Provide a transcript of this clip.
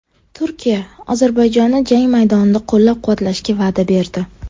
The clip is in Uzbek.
Turkiya Ozarbayjonni jang maydonida qo‘llab-quvvatlashga va’da berdi.